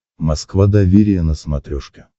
москва доверие на смотрешке